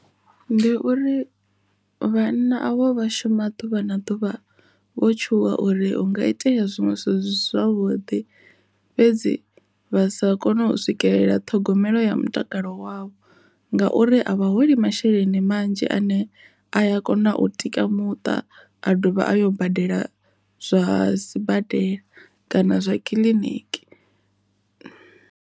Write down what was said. Ndi uri vhana avho vha shuma ḓuvha na ḓuvha vho tshuwa uri hu nga itea zwinwe zwithu zwi si zwavhuḓi fhedzi vha sa kone u swikelela ṱhogomelo ya mutakalo wavho ngauri a vha holi masheleni manzhi ane a kona u tika muṱa a dovha a yo badela zwa sibadela kana zwa kiḽiniki.